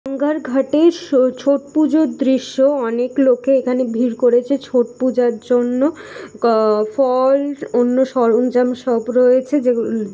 গঙ্গার ঘাটে ছো-ছট পুজোর দৃশ্য অনেক লোকে এখানে ভিড় করেছে ছট পূজার জন্য গ-ফল অন্য সরঞ্জাম সব রয়েছে যেগু--